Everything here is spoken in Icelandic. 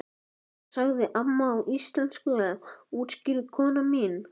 Hún sagði amma á íslensku útskýrði kona mín.